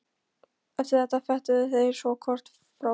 Eftir þetta fetuðu þeir sig hvor frá öðrum.